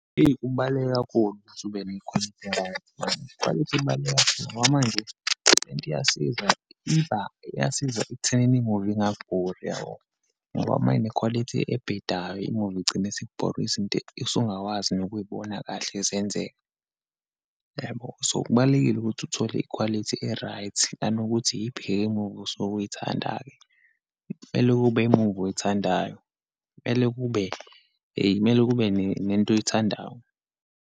Eyi, kubaluleke kakhulu ukuthi ube nekhwalithi e-right . Ikhwalithi ibaluleke kakhulu ngoba manje lento iyasiza. Iba iyasiza ekuthenini imuvi ingakubhori yabo, ngoba uma inekhwalithi ebhedayo, imuvi igcine isikubora. Izinto esungakwazi nokuyibona kahle zenzeka. Yebo, so kubalulekile ukuthi uthole ikhwalithi e-right, nanokuthi yibheke ngobusa obuyithandayo. Kumele kube imuvi oyithandayo, kumele kube, kumele kube nento oyithandayo.